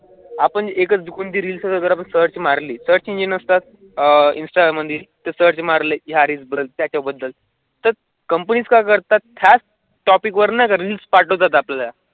आपण एकच reels search मारली सरच एन्जिन आसतात अह इंस्टाग्राममध्ये त्या सर्च मारली हा रील्स तर कंपनी काय करतात त्यां टॉपिकवर रील्स पटोवतथ आपल्या.